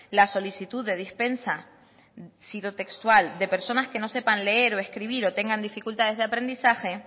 la solicitud de dispensa cito textual de personas que no sepan leer o escribir o tengan dificultades de aprendizaje